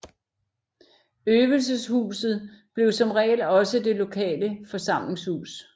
Øvelseshuset blev som regel også det lokale forsamlingshus